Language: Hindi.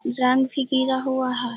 रंग भी गिरा हुआ है।